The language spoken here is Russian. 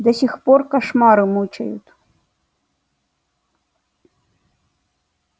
до сих пор кошмары мучают